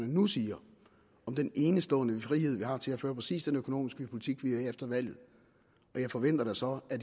nu siger om den enestående frihed vi har til at føre præcis den økonomiske politik vi vil efter valget og jeg forventer da så at